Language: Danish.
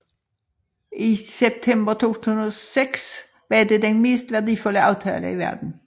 I september 2006 var det den mest værdifulde aftale i verden